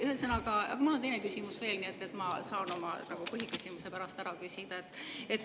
Ühesõnaga, mul on teine küsimus veel, nii et ma saan oma põhiküsimuse pärast ära küsida.